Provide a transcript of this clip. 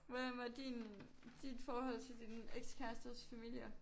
Hvordan var din dit forhold til din ekskærestes familier?